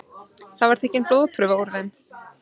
Þar var tekin blóðprufa úr þeim